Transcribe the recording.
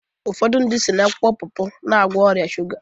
Ụfọdụ si n'akwụkwọ popo na-egwo ọrịa shuga